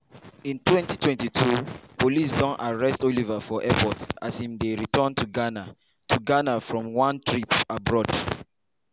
in 2022 police don arrest oliver for airport as im return to ghana to ghana from one trip abroad.